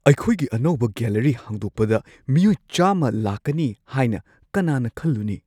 ꯑꯩꯈꯣꯏꯒꯤ ꯑꯅꯧꯕ ꯒꯦꯂꯔꯤ ꯍꯥꯡꯗꯣꯛꯄꯗ ꯃꯤꯑꯣꯏ ꯱꯰꯰ ꯂꯥꯛꯀꯅꯤ ꯍꯥꯏꯅ ꯀꯅꯥꯅ ꯈꯜꯂꯨꯅꯤ?